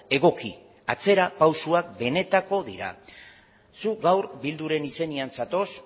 egoki atzerapausoak benetakoak dira zuk gaur bilduren izenean zatoz